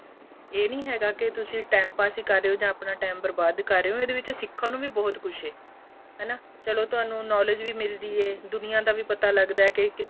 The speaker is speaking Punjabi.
ਏਹ ਨਹੀਂ ਹੈਗਾ ਕ਼ ਤੁਸੀਂ time pass ਹੀ ਕਰ ਰਹੇ ਹੋ ਜਾਂ ਆਪਣਾਂ time ਬਰਬਾਦ ਕਰ ਰਹੇ ਹੋ ਇਹਦੇ ਵਿੱਚ ਸਿਖਣ ਨੂੰ ਵੀ ਬਹੁਤ ਕੁੱਛ ਏ ਹੈਨਾ ਚਲੋਂ ਤੁਹਾਨੂੰ knowledge ਵੀ ਮਿਲਦੀ ਏ ਦੁਨੀਆਂ ਦਾ ਵੀ ਪਤਾ ਲੱਗਦਾ ਏ